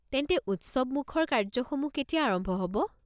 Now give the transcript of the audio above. তেন্তে উৎসৱমুখৰ কাৰ্য্যসমূহ কেতিয়া আৰম্ভ হ'ব?